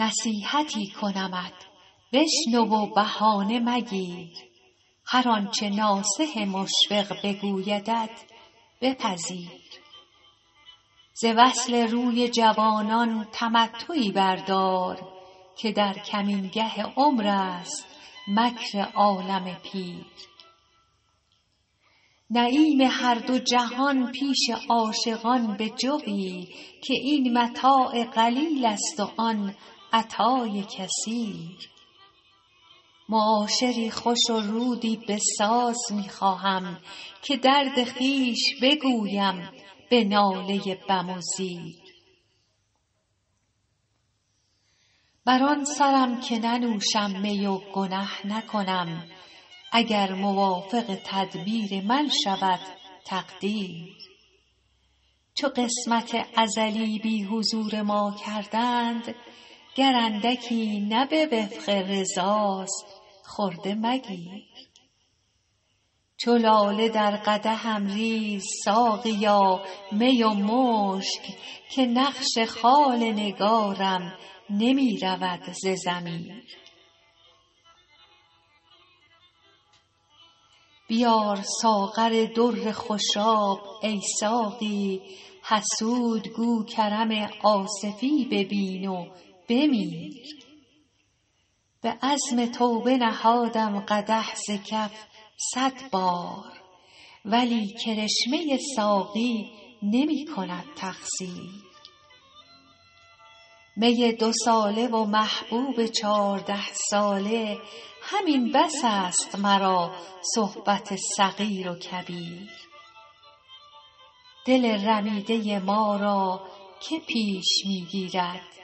نصیحتی کنمت بشنو و بهانه مگیر هر آنچه ناصح مشفق بگویدت بپذیر ز وصل روی جوانان تمتعی بردار که در کمینگه عمر است مکر عالم پیر نعیم هر دو جهان پیش عاشقان بجوی که این متاع قلیل است و آن عطای کثیر معاشری خوش و رودی بساز می خواهم که درد خویش بگویم به ناله بم و زیر بر آن سرم که ننوشم می و گنه نکنم اگر موافق تدبیر من شود تقدیر چو قسمت ازلی بی حضور ما کردند گر اندکی نه به وفق رضاست خرده مگیر چو لاله در قدحم ریز ساقیا می و مشک که نقش خال نگارم نمی رود ز ضمیر بیار ساغر در خوشاب ای ساقی حسود گو کرم آصفی ببین و بمیر به عزم توبه نهادم قدح ز کف صد بار ولی کرشمه ساقی نمی کند تقصیر می دوساله و محبوب چارده ساله همین بس است مرا صحبت صغیر و کبیر دل رمیده ما را که پیش می گیرد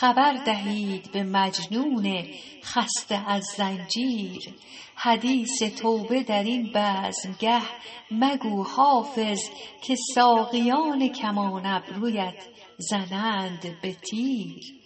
خبر دهید به مجنون خسته از زنجیر حدیث توبه در این بزمگه مگو حافظ که ساقیان کمان ابرویت زنند به تیر